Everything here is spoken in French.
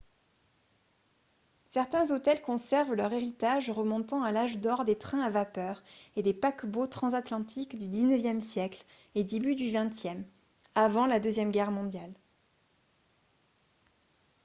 certains hôtels conservent leur héritage remontant à l'âge d'or des trains à vapeur et des paquebots transatlantiques du xixe siècle et début du xxe avant la deuxième guerre mondiale